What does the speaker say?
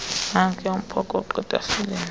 nankuya umphokoqo etafileni